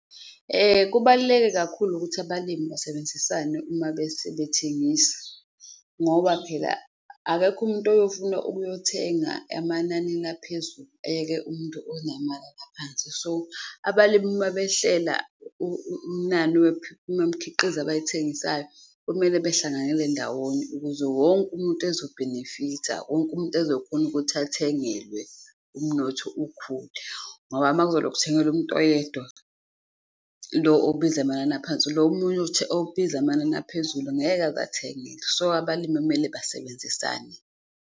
Kubaluleke kakhulu ukuthi abalimi basebenzisane uma sebethengisa ngoba phela akekho umuntu oyofuna ukuyothenga emananini aphezulu ayeke umuntu onamanani aphansi. So abalimi uma behlela inani womkhiqizo abayithengisayo komele behlanganyele ndawonye ukuze wonke umuntu ezobhenefitha. Wonke umuntu ezokhona ukuthi athengelwe, umnotho ukhule ngoba uma kuzoloku kuthengelwa umuntu oyedwa, lo obiza amanani aphansi, lo munye obiza amanani aphezulu ngeke aze athengelwe so abalimi kumele basebenzisane.